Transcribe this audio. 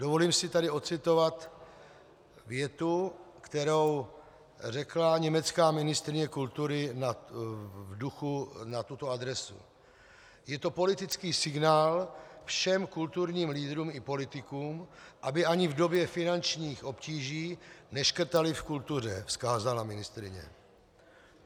Dovolím si tady ocitovat větu, kterou řekla německá ministryně kultury v duchu na tuto adresu: "Je to politický signál všem kulturním lídrům i politikům, aby ani v době finančních obtíží neškrtali v kultuře," vzkázala ministryně.